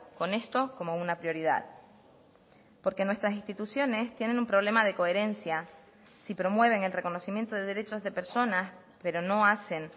con esto como una prioridad porque nuestras instituciones tienen un problema de coherencia si promueven el reconocimiento de derechos de personas pero no hacen